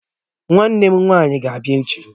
Nwannem nwanyi ga-abia echi